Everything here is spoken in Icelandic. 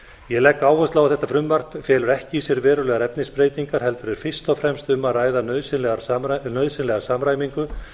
ég legg áherslu á að þetta frumvarp felur ekki í sér verulegar efnisbreytingar heldur er fyrst og fremst um að ræða nauðsynlega samræmingu